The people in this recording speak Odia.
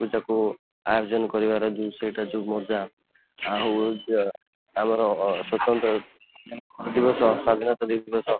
ପୂଜା କୁ ଆୟୋଜନ କରିବାର ଜିନିଷ ଟା ଯୋଉ ମଜା ଆଉ ଯେ ଆମର ସ୍ଵଂତନ୍ତ୍ରତା ଦିବସ, ଗୁରୁଦିବସ, ସ୍ୱାଧୀନତା ଦିବସ